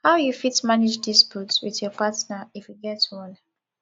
how you fit manage dispute with your partner if you get one